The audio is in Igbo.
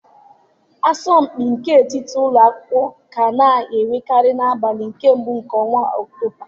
Asọmpi nke etiti ụlọ akwụkwọ ka a na-enwekarị n'abalị mbụ nke ọnwa Ọktoba.